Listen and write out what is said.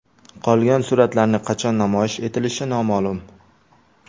Qolgan suratlarning qachon namoyish etilishi noma’lum.